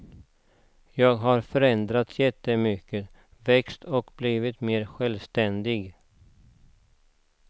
Jag har förändrats jättemycket, växt och blivit mer självständig.